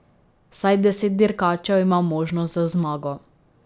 Vsaj deset dirkačev ima možnost za zmago.